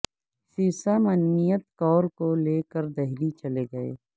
سرسا منمیت کور کو لے کر دہلی چلے گئے